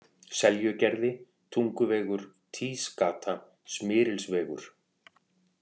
Seljugerði, Tunguvegur, Týsgata, Smyrilsvegur